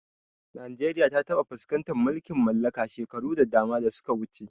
Najeriya ta taɓa fuskantar mulkin mallaka shekaru da dama da suka wuce.